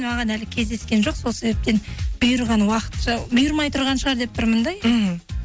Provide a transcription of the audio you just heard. маған әлі кездескен жоқ сол себептен бұйырған уақытша бұйырмай тұрған шығар деп тұрмын да мхм